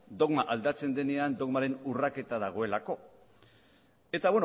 dogma aldatzen denean dogmaren urraketa dagoelako eta